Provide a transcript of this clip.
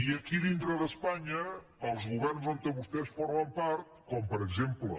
i aquí dintre d’espanya els governs on vostès formen part com per exemple